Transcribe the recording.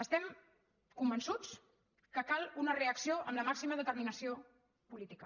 estem convençuts que cal una reacció amb la màxima determinació política